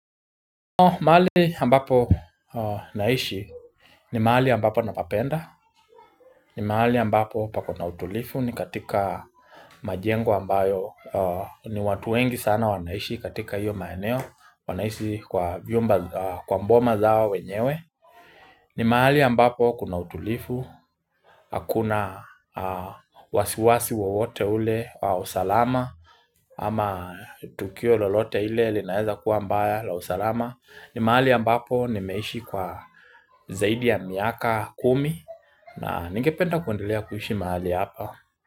Mahali ambapo naishi ni mahali ambapo napapenda ni mahali ambapo pakona utulifu ni katika majengo ambayo ni watu wengi sana wanaishi katika hiyo maeneo wanaishi kwa mboma zao wenyewe ni maali ambapo kuna utulifu Hakuna wasiwasi wowote ule wa usalama ama tukio lolote ile linaeza kuwa mbaya la usalama ni mahali ambapo nimeishi kwa zaidi ya miaka kumi na ningependa kuendelea kuhishi mahali hapa.